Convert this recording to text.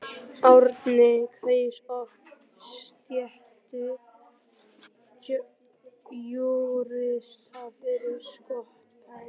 Árni kaus oft stétt júrista fyrir skotspæni.